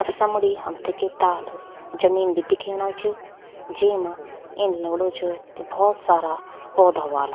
और समणि हमथै कि ताल जमीन भी दिखेंणा छ जेमा इन लगणु च कि भौत सारा पौधा ह्वाला।